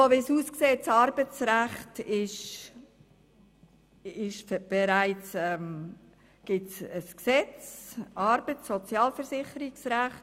So wie es aussieht, besteht bereits vom Bund her eine Regelung, nämlich das Arbeits- und Sozialversicherungsrecht.